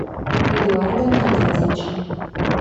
эдуардом геннадьевичем